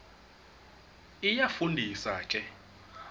iyafu ndisa ke